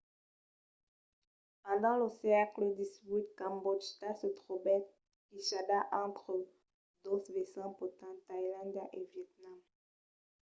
pendent lo sègle xviii cambòtja se trobèt quichada entre dos vesins potents tailàndia e vietnam